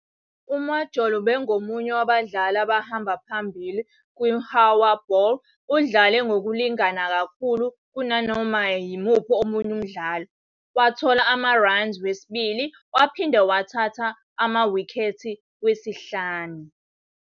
UMajola ubengomunye wabadlali abahamba phambili kwiHowa Bowl, udlale ngokulingana kakhulu kunanoma yimuphi omunye umdlali, wathola ama-runs wesibili, waphinde wathatha amawikhethi wesihlanu.